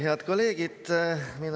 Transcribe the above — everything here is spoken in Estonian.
Head kolleegid!